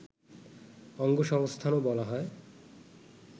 অঙ্গসংস্থানও বলা হয়